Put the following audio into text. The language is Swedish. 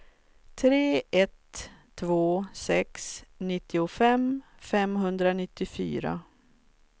tre ett två sex nittiofem femhundranittiofyra